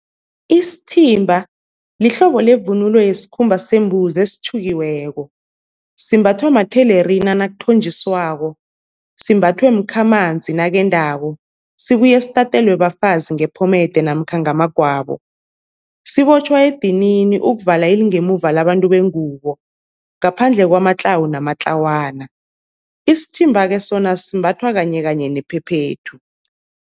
Isithimba lihlobo levunulo yesikhumba sembuzi esitjhukiweko, simbathwa mathelerina nakuthonjiswako, simbathwe mkhamanzi nakendako, sibuye sitatelwe bafazi ngephomede namkha ngamagwabo. Sibotjhwa edinini ukuvala ilingemuva labantu bengubo ngaphandle kwamatlawu namatlawana. Isithimba-ke sona simbathwa kanye kanye nephephethu.